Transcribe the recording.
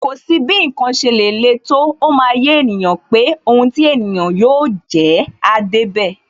Kò sí bí ǹkan ṣe lè le tó, ó máa yé ènìyàn pé Ohun ti ènìyàn yóò jẹ́, áá débẹ̀.